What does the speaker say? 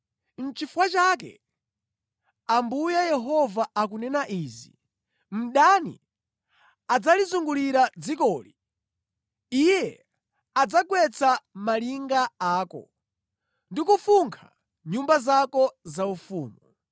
Nʼchifukwa chake Ambuye Yehova akunena izi: “Mdani adzalizungulira dzikoli; iye adzagwetsa malinga ako, ndi kufunkha nyumba zako zaufumu.”